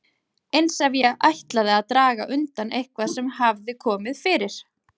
Eins ef ég ætlaði að draga undan eitthvað sem hafði komið fyrir.